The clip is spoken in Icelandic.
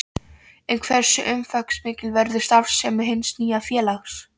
En hversu umfangsmikil verður starfssemi hins nýja félags?